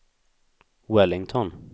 Wellington